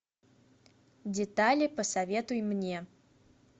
детали посоветуй мне